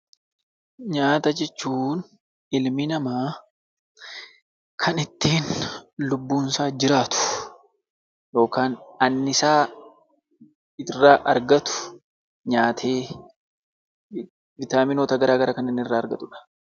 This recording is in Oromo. Nyaata jechuun ilmi namaa kan ittiin lubbuun isaa jiraatu yookaan annisaa irraa argatu nyaatee viitaminoota gara garaa kan inni irraa argatu dha.